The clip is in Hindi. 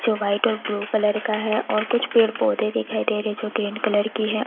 जो व्हाइट और ब्लू कलर का है और कुछ पेड़ पौधे दिखाई दे रहे हैं जो ग्रीन कलर की है।